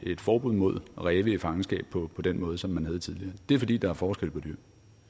et forbud mod ræve i fangenskab på den måde som man havde tidligere det er fordi der er forskel på dyr